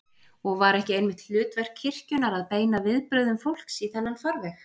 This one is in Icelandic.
Og var ekki einmitt hlutverk kirkjunnar að beina viðbrögðum fólks í þennan farveg?